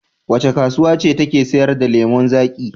Wace kasuwa ce take sayar da lemon zaƙi?